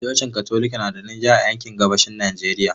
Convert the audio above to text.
Cocin Katolika na da rinjaye a yankin gabashin Najeriya.